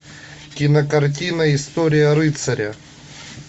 кинокартина история рыцаря